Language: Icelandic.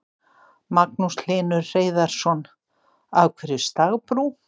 Magnús Hlynur Hreiðarsson: Af hverju stagbrú?